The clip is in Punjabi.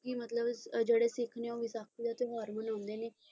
ਲੋਕੀ ਮਤਲਬ ਜਿਹੜੇ ਸਿੱਖ ਨੇ ਉਹ ਵਿਸਾਖੀ ਦਾ ਤਿਉਹਾਰ ਮਨਾਉਂਦੇ ਨੇ।